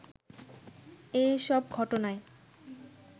এ সব ঘটনায়